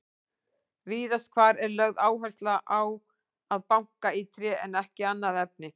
Víðast hvar er lögð áhersla á að banka í tré en ekki annað efni.